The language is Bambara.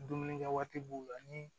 Dumunikɛ waati b'u la ni